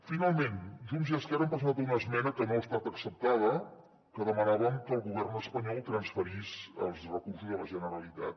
finalment junts i esquerra hem presentat una esmena que no ha estat acceptada en què demanàvem que el govern espanyol transferís els recursos a la generalitat